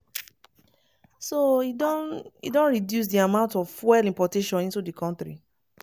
so e don e don reduce di amount of fuel importation into di kontri."